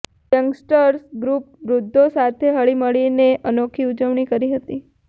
youngsters group વૃધ્ધો સાથે હળી મળીને અનોખી ઉજવણી કરી હતી